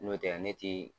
N'o tɛ ne ti